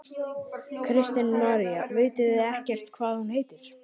Kristín María: Vitið þið ekkert hvað hún heitir?